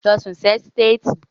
Lọ sùn sí ẹ́sítéètì.